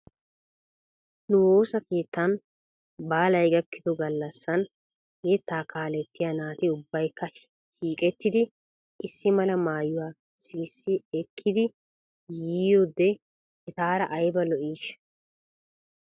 Nu woosa keettan baalay gakkido gallassan yettaa kaalettiyaa naati ubbaykka shiiqettidi issi mala maayuwaa sikissi ekkidi yiyoode etaara ayba lo'iishsha?